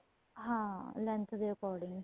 ਹਾਂ length ਦੇ according